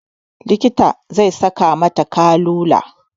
Likitan zai saka mata kanula